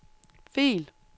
fil